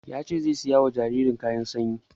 Yace zai saya wa jaririn kayan sanyi